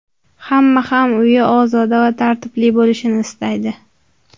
Hamma ham uyi ozoda va tartibli bo‘lishini istaydi.